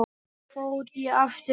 Svo fór ég aftur heim.